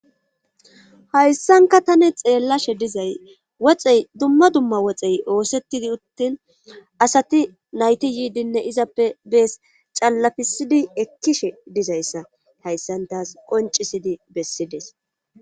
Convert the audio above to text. hayssanka tani xeellashe dizay woxey dumma dumma woxey oosettidi uttin asati nayti yiidinne izappe bees callafisidi ekkishe dizayssa hayssantaas qoncisidi bessides